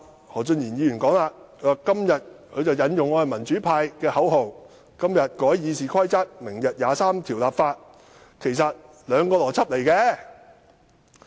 何俊賢議員其後借用民主派的口號並解釋說，今天改議事規則和明日23條立法，邏輯上其實沒有關係。